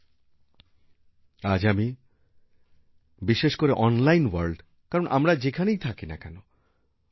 আমিআজ বিশেষ করে online world কে কারণ আমরা যেখানেই থাকি না কেন